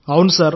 అవును సార్